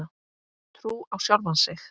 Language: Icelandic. Trú á sjálfan sig.